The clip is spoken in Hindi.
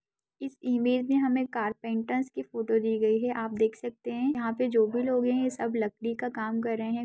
इस इमेज में हमें कारपेंटर्स की फोटो दी गयी है आप देख सकते हैं यहाँ पे जो भी लोग हैं सब लकड़ी का काम कर रहें हैं।